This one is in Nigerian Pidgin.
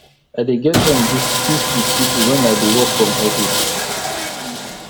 i dey get time gist gist wit pipo wen i dey work from office